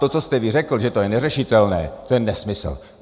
To, co jste vy řekl, že to je neřešitelné, je nesmysl.